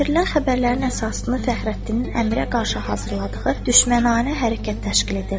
Gətirilən xəbərlərin əsasını Fəxrəddinin Əmirə qarşı hazırladığı düşməncəsinə hərəkət təşkil edirdi.